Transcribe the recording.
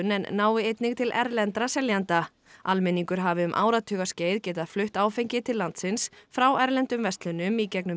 en nái einnig til erlendra seljenda almenningur hafi um áratugaskeið getað flutt áfengi til landsins frá erlendum verslunum í gegnum